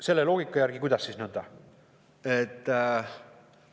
Selle loogika järgi, kuidas siis nõnda?